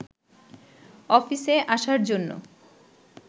অফিসে আসার জন্য